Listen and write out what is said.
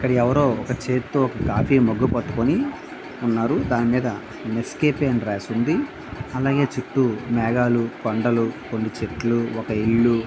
ఇక్కడ ఎవరో ఒక చేత్తో లాగి మగ్ పట్టుకొని ఉన్నారు. దాని మీద నెస్కేఫ్ అని రాసి ఉన్నది. అలాగే చుటూ మేఘాలు పంటలు కొన్ని చెట్లు ఒక ఇళ్లు --